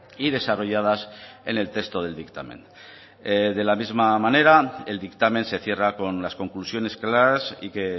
y desarrolladas en el texto del dictamen de la misma manera el dictamen se cierra con las conclusiones claras y que